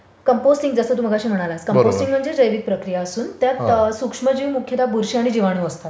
Composting जसे टू मगाशी म्हणालास कंपोस्टिंग म्हणजे जैविक प्रक्रिया असून त्यामध्ये सूक्ष्मजीव बुरशी आणि जीवाणू असतात.